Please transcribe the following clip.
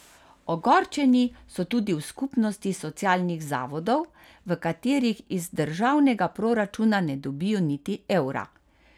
Ogorčeni so tudi v skupnosti socialnih zavodov, v katerih iz državnega proračuna ne dobijo niti evra.